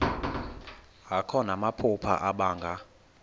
akho namaphupha abanga